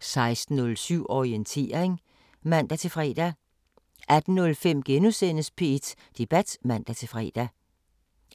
16:07: Orientering (man-fre) 18:05: P1 Debat *(man-fre)